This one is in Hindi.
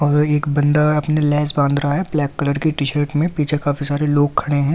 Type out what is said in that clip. और एक बंदा अपने लेस बांध रहा है ब्लैक कलर की टी शर्ट मे पीछे काफी सारे लोग खड़े है ।